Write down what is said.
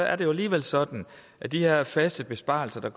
er det jo alligevel sådan at de her faste besparelser der